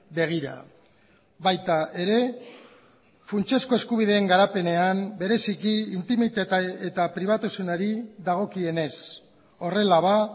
begira baita ere funtsezko eskubideen garapenean bereziki intimitate eta pribatusenari dagokienez horrela ba